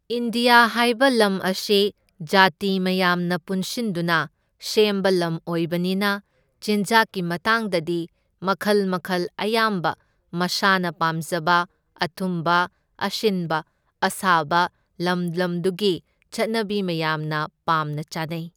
India ꯍꯥꯏꯕ ꯂꯝ ꯑꯁꯤ ꯖꯥꯇꯤ ꯃꯌꯥꯝꯅ ꯄꯨꯟꯁꯤꯟꯗꯨꯅ ꯁꯦꯝꯕ ꯂꯝ ꯑꯣꯢꯕꯅꯤꯅ ꯆꯤꯟꯖꯥꯛꯀꯤ ꯃꯇꯥꯡꯗꯗꯤ ꯃꯈꯜ ꯃꯈꯜ ꯑꯌꯥꯝꯕ ꯃꯁꯥꯅ ꯄꯥꯝꯖꯕ ꯑꯊꯨꯝꯕ, ꯑꯁꯤꯟꯕ, ꯑꯁꯥꯕ ꯂꯝ ꯂꯝꯗꯨꯒꯤ ꯆꯠꯅꯕꯤ ꯃꯌꯥꯝꯅ ꯄꯥꯝꯅ ꯆꯥꯅꯩ꯫